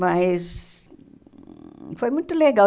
Mas foi muito legal.